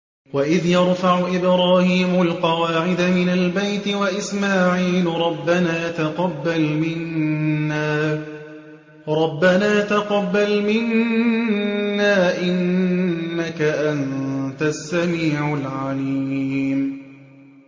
وَإِذْ يَرْفَعُ إِبْرَاهِيمُ الْقَوَاعِدَ مِنَ الْبَيْتِ وَإِسْمَاعِيلُ رَبَّنَا تَقَبَّلْ مِنَّا ۖ إِنَّكَ أَنتَ السَّمِيعُ الْعَلِيمُ